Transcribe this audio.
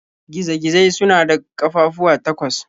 Giza-gizai suna da ƙafafuwa takwas.